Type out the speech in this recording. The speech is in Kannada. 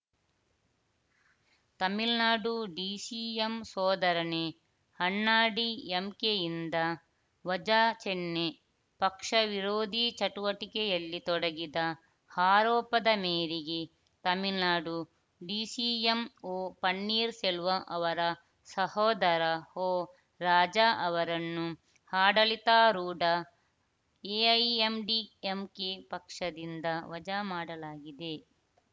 ತಮಿಳ್ನಾಡು ಡಿಸಿಎಂ ಸೋದರನೇ ಅಣ್ಣಾಡಿಎಂಕೆಯಿಂದ ವಜಾ ಚೆನ್ನೈ ಪಕ್ಷ ವಿರೋಧಿ ಚಟುವಟಿಕೆಯಲ್ಲಿ ತೊಡಗಿದ ಆರೋಪದ ಮೇರಿಗೆ ತಮಿಳುನಾಡು ಡಿಸಿಎಂ ಒಪನ್ನೀರ್‌ ಸೆಲ್ವಂ ಅವರ ಸಹೋದರ ಒ ರಾಜಾ ಅವರನ್ನು ಆಡಳಿತಾರೂಢ ಎಐಎಂಡಿಎಂಕೆ ಪಕ್ಷದಿಂದ ವಜಾ ಮಾಡಲಾಗಿದೆ